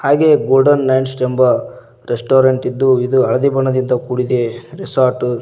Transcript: ಹಾಗೆ golden nights ಎಂಬ restaurant ಇದ್ದು ಇದು ಹಳದಿ ಬಣ್ಣದಿಂದ ಕೂಡಿದೆ ರೆಸಾರ್ಟು .